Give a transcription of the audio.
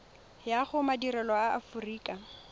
ya go madirelo a aforika